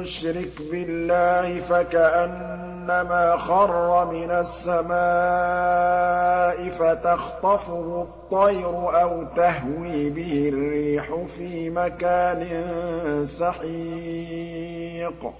يُشْرِكْ بِاللَّهِ فَكَأَنَّمَا خَرَّ مِنَ السَّمَاءِ فَتَخْطَفُهُ الطَّيْرُ أَوْ تَهْوِي بِهِ الرِّيحُ فِي مَكَانٍ سَحِيقٍ